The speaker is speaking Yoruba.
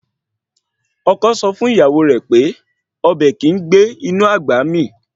Ọkọ sọ fún ìyàwó rẹ̀ pé Ọbẹ́ kìí gbé inú àgbà mí